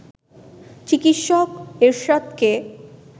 চিকিৎসক এরশাদকে